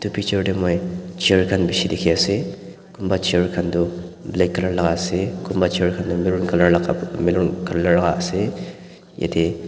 tu picture tey moi chair khan beshe dekhe ase kon bah chair khan tu black colour la ase kunbah chair khan tu maroon colour lakab maroon colour lake are yate.